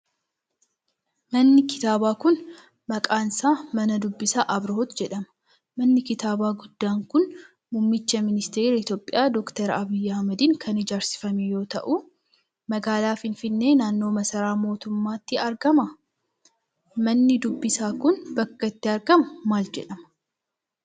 Manni kitaabaa kun, maqaan isaa mana dubbisaa Abrihoot jedhama. Manni kitaabaa guddaan kun, muummicha ministeeraa Itoophiyaa ,Doktar Abiyyi Ahimadiin kan ijaarsifame yoo ta'u, magaalaa Finfinnee naannoo masaraa mootummaatti argama? Manni dubbisaa kun ,bakki itti argamu maal jedhama?